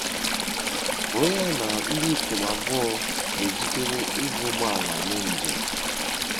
Were ya na ndị ikom abụọ na-ejikere iji ụgbọ ala mee njem.